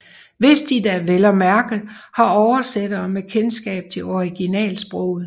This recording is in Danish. Hvis de da vel at mærke har oversættere med kendskab til originalsproget